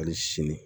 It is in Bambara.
Hali sini